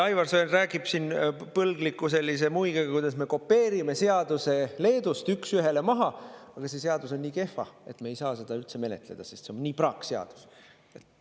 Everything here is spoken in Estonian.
Aivar Sõerd räägib meile siin põlgliku muigega, kuidas me kopeerisime Leedust üks ühele maha seaduse, mis on nii kehv, et seda ei saa üldse menetledagi, see seadus on nii praak.